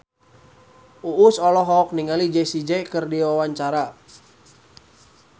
Uus olohok ningali Jessie J keur diwawancara